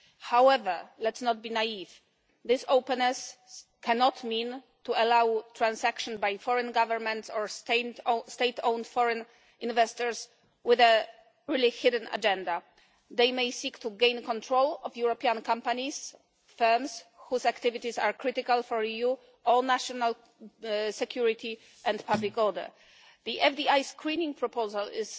However, let's not be naive, this openness cannot mean allowing transactions by foreign governments or state owned foreign investors with a hidden agenda. They may seek to gain control of European companies, firms whose activities are critical for the EU or national security and public order. The FDI screening proposal, which